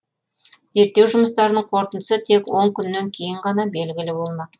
зерттеу жұмыстарының қорытындысы тек он күннен кейін ғана белгілі болмақ